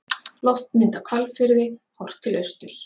Loftmynd af Hvalfirði, horft til austurs.